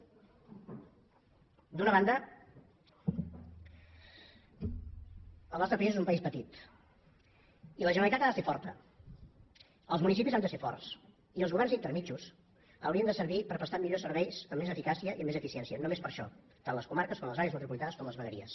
d’una banda el nostre país és un país petit i la generalitat ha de ser forta els municipis han de ser forts i els governs intermedis haurien de servir per prestar millors serveis amb més eficàcia i amb més eficiència només per a això tant les comarques com les àrees metropolitanes com les vegueries